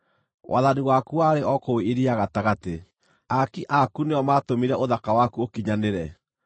Wathani waku warĩ o kũu iria gatagatĩ; aaki aku nĩo maatũmire ũthaka waku ũkinyanĩre.